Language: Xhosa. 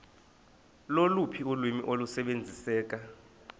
loluphi ulwimi olusebenziseka